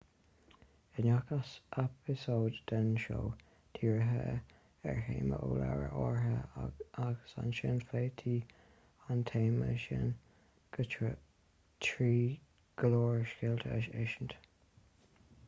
i ngach eipeasóid den seó dhírítí ar théama ó leabhar áirithe agus ansin phléití an téama sin trí go leor scéalta a insint